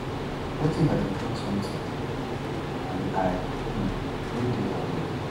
what if i bin tok sometin um and i um no dey aware